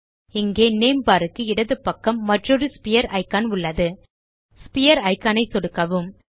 இங்கே name bar க்கு இடது பக்கம் மற்றொரு ஸ்பீர் இக்கான் உள்ளது ஸ்பீர் இக்கான் ஐ சொடுக்கவும்